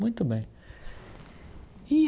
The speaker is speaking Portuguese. Muito bem.